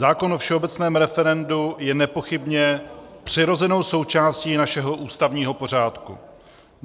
Zákon o všeobecném referendu je nepochybně přirozenou součástí našeho ústavního pořádku.